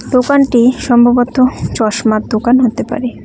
দোকানটি সম্ভবত চশমার দোকান হতে পারে।